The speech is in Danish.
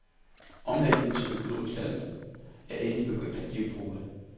Omlægningen til økologisk landbrug er endelig begyndt at give pote.